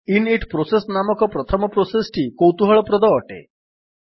init process ନାମକ ପ୍ରଥମ process ଟି କୌତୁହଳପ୍ରଦ ଅଟେ